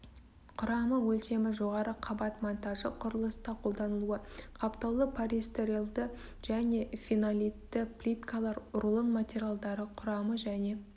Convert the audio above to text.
құрамы өлшемі жоғары қабат монтажы құрылыста қолданылуы қаптаулы полистрирольді және фенолитті плиткалар рулон материалдары құрамы және